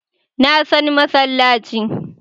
Na san masallaci